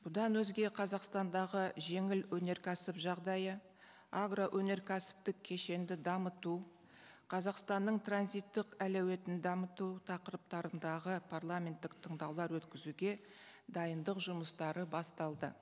бұдан өзге қазақстандағы жеңіл өнеркәсіп жағдайы агроөнеркәсіптік кешенді дамыту қазақстанның транзиттік әлеуетін дамыту тақырыптарындаға парламенттік тыңдаулар өткізуге дайындық жұмыстары басталды